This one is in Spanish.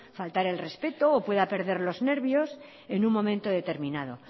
faltar al respeto o pueda perder los nervios en un momento determinado